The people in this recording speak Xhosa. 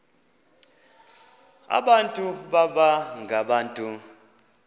abantu baba ngabantu